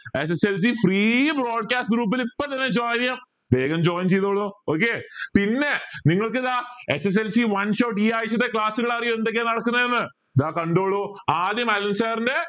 sslc free broadcast group ൽ ഇപ്പൊ തന്നെ join ചെയാം വേഗം join ചെയ്തോളു okay പിന്നെ നിങ്ങൾക്കിതാ SSLC one shot ഈ ആഴ്ചത്തെ class കാൾ അറിയോ എന്തൊക്കെയാ നടക്കുന്നതെന്ന് ദാ കണ്ടോളൂ ആദ്യം അനിൽ sir ന്റെ